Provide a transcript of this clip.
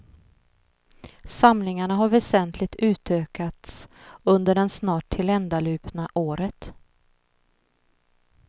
Samlingarna har väsentligt utökats under den snart tilländalupna året.